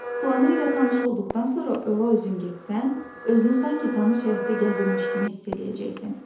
Planı ilə tanış olduqdan sonra ora özün getsən, özünü sanki tanış həyətdə gəzirmiş kimi hiss eləyəcəksən.